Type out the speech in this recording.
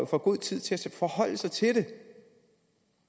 får god tid til at forholde sig til det